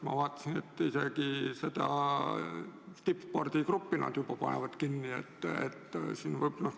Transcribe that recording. Ma vaatasin, et nad isegi tippspordigruppi panevad kinni.